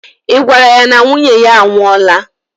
I gwara ya na nwunye ya a nwụọla?